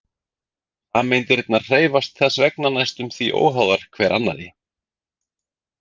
Sameindirnar hreyfast þess vegna næstum því óháðar hver annarri.